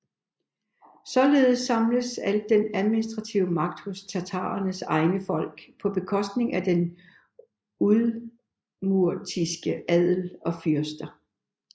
Således samledes al den administrative magt hos tatarernes egne folk på bekostning af den udmurtiske adel og fyrster